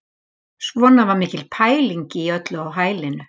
Svona var mikil pæling í öllu á hælinu